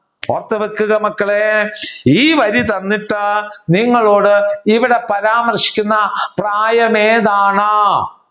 ഓർത്തുവെക്കുക മക്കളെ ഈ വഴി വന്നിട്ട് നിങ്ങളോട് ഇവിടെ പരാമർശിക്കുന്ന പ്രായമേതാണ്?